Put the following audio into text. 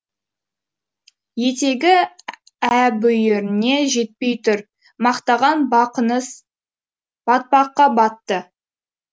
етегі әбүйіріне жетпей тұр мақтаған бақаңыз батпаққа батты